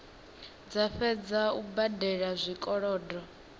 dza fhedza u badela zwikolodo